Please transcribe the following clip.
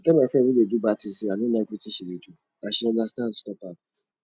i tell my friend wey do bad thing say i no like wetin she do and she understand stop am